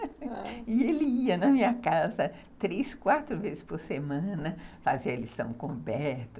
E ele ia na minha casa três, quatro vezes por semana fazer a lição com o Roberto.